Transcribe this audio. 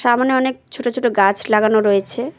সামোনে অনেক ছোট ছোট গাছ লাগানো রয়েছে।